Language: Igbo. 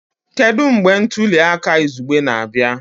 Kedu mgbe ntuli aka izugbe na-abịa?